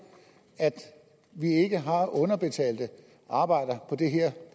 at vi ikke har underbetalte arbejdere